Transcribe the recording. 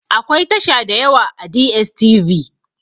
Akwai tasha dayawa a DSTV